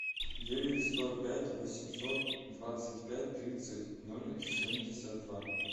девять сто пять восемьсот двадцать пять тридцать ноль семьдесят два